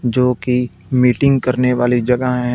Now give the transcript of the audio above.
जो कि मीटिंग करने वाली जगह हैं।